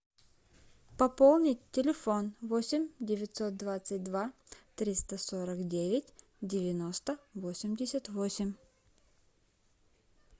пополнить телефон восемь девятьсот двадцать два триста сорок девять девяносто восемьдесят восемь